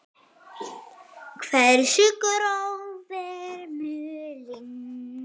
Hversu gróf er mölin?